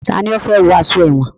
Tani ó fẹ́ wọ aṣọ èwọ̀n?